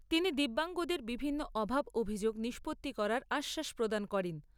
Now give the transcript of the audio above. তিনি দিব্যাঙ্গদের বিভিন্ন অভাব অভিযোগ নিষ্পত্তি করার আশ্বাস প্রদান করেন।